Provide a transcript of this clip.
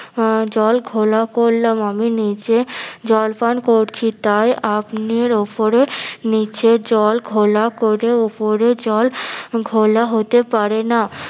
আহ জল ঘোলা করলাম আমি নিচে জল পান করছি তাই আপনির ওপরে নিচে জল ঘোলা করে ওপরে জল ঘোলা হতে পারে না